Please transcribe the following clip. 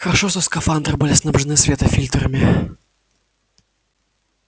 хорошо что скафандры были снабжены светофильтрами